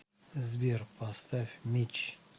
сбер поставь митч